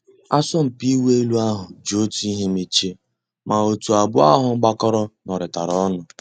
Àsọ̀mpị́ ị̀wụ́ èlú àhú́ jì Ótú ị́hé mèchíé, má ótú àbụ́ọ́ àhú́ gbàkọ́rọ́ nụ́rị́tàrá ọnụ́.